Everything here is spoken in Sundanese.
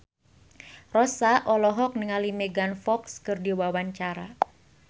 Rossa olohok ningali Megan Fox keur diwawancara